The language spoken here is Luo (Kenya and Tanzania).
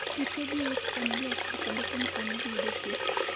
gite giwuok e familia achiel kendo kuom sani giyudo thieth